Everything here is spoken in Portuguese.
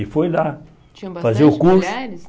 E foi lá fazer o curso.